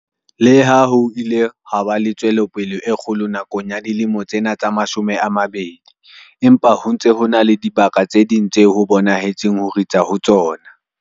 Le ha ho ile ha ba le tswelopele e kgolo nakong ya dilemo tsena tse mashome a mabedi, empa ho ntse ho na le dibaka tse ding tseo ho bonahetseng ho ritsa ho tsona.